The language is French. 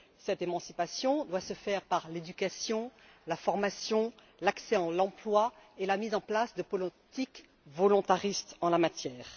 Cette émancipation doit se faire par l'éducation, la formation, l'accès à l'emploi et la mise en place de politiques volontaristes en la matière.